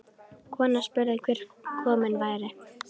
Konan spurði hver kominn væri.